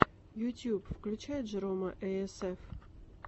ютьюб включай джерома эй эс эф